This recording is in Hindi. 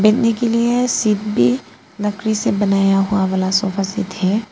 बैठने के लिए सीट भी लकड़ी से बनाया बनाया हुआ वाला सोफा सेट है।